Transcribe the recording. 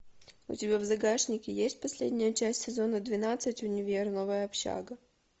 у тебя в загашнике есть последняя часть сезона двенадцать универ новая общага